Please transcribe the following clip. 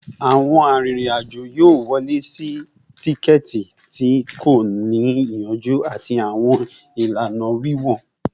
Awọn arinrin-ajo yoo wọle si tikẹti ti ko ni iyanju ati awọn ilana wiwọ